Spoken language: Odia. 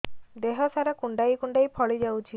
ଦେହ ସାରା କୁଣ୍ଡାଇ କୁଣ୍ଡାଇ ଫଳି ଯାଉଛି